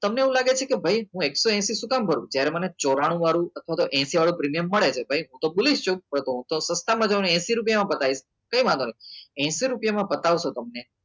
તમને એવું લાગે છે કે ભાઈ હું એકસો હેસિ શું કામ ભરું? જ્યારે મને ચોરનું આતો હેસિ વાળું પ્રીમિયમ મળે છે તો તો સસ્તામાં જવાનું હેસિ રૂપિયામાં બતાવીશ તે કંઈ વાંધો નહીં હેસિ રૂપિયામાં બતાવશો તમને